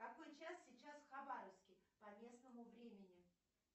какой час сейчас в хабаровске по местному времени